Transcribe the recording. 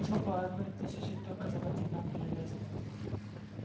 всего по одной тысяче только заплатите нам железом